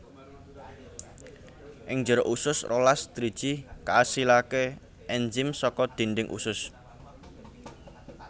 Ing njero usus rolas driji kaasilaké ènzim saka dhindhing usus